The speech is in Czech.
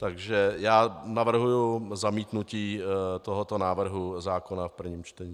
Takže já navrhuji zamítnutí tohoto návrhu zákona v prvním čtení.